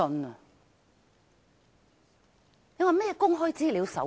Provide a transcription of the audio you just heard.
你說這是甚麼《公開資料守則》？